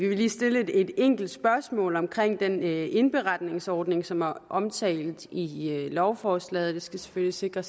vil lige stille et enkelt spørgsmål om den indberetningsordning som er omtalt i lovforslaget vi skal selvfølgelig sikre